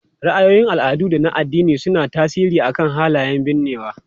Ra'ayoyin al'adu da na addini suna tasiri akan halayen binnewa.